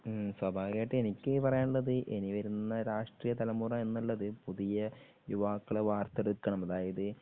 ഉം സ്വാഭാവികമായിട്ടും എനിക്ക് പറയാനുള്ളത് ഇനി വരുന്ന രാഷ്ട്രീയ തലമുറ എന്നുള്ളത് പുതിയ യുവാക്കളെ വാർത്തെടുക്കണം അതായത്